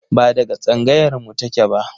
Ba daga tsangayar mu take ba